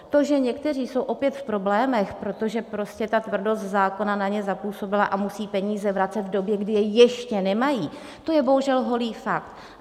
To, že někteří jsou opět v problémech, protože prostě ta tvrdost zákona na ně zapůsobila a musí peníze vracet v době, kdy je ještě nemají, to je bohužel holý fakt.